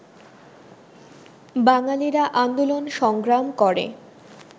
বাঙালিরা আন্দোলন-সংগ্রাম করে